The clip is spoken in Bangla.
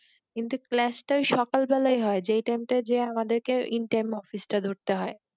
কিন্তু clash টা ওই সকালবেলাতেই হয় যে টাইম টা আমাদের কে in time office টা ধরতে হয়